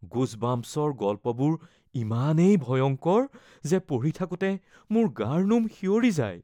‘গুজবাম্পছ’ৰ গল্পবোৰ ইমানেই ভয়ংকৰ যে পঢ়ি থাকোঁতে মোৰ গাৰ নোম শিয়ৰি যায়।